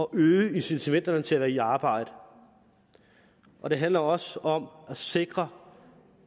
øge incitamentet til at være i arbejde og det handler også om at sikre